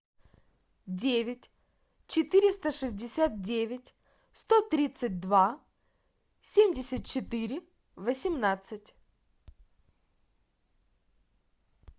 девять четыреста шестьдесят девять сто тридцать два семьдесят четыре восемнадцать